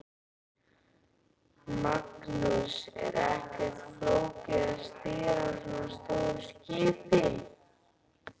Magnús: Er ekkert flókið að stýra svona stóru skipi?